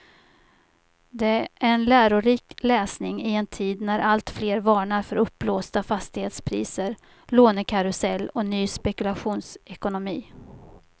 Det är en lärorik läsning i en tid när alltfler varnar för uppblåsta fastighetspriser, lånekarusell och ny spekulationsekonomi.